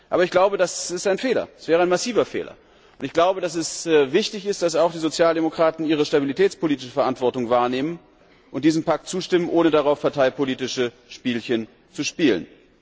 kann. Aber ich glaube, das wäre ein massiver Fehler, und ich glaube, dass es wichtig ist, dass auch die Sozialdemokraten ihre stabilitätspolitische Verantwortung wahrnehmen und diesem Pakt zustimmen, ohne darauf parteipolitische Spielchen zu spielen.